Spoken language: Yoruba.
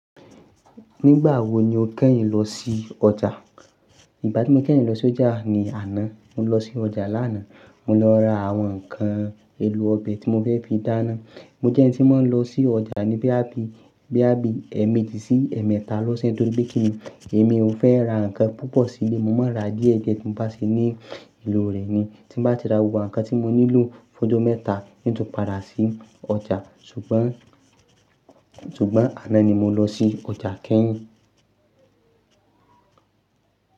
Nígbà wo ni o kẹ́yìn lọ sí ọjà? Ìgbà tí mo kẹ́yìn lọ sí ọjà ni àná. Mo lọ sí ọjà lánàá, mo lọ ra àwọn ǹkan èlò ọbẹ̀ tí mo fẹ́ fi dáná. Mo jẹ́ ẹni tí máa ń lọ sí ọjà ní boyà bí, boyà bí ẹ̀ẹ̀mẹjì sí ẹ̀ẹ̀mẹta lọ́sẹ̀ tó ri pe kini? Èmi ò n fẹ́ ra ǹkan púpọ̀ sílé, mo máa ń ra díẹ̀ díẹ̀ tí mo bá ṣe ní ìlò rẹ̀ ni. Tí mo bá ti ra gbogbo awon ǹkan tí mo nílò fójomẹ́ta n tun padà sí ọjà. Ṣùgbọ́n, ṣùgbọ́n àná ni mo lọ sí ọjà kẹ́yìn.